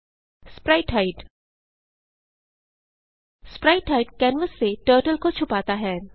sprite hide sprite hide canvas से turtle को छुपाता है